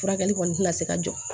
Furakɛli kɔni tɛna se ka jɔ